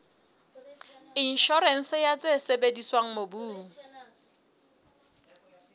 inshorense ya tse sebediswang mobung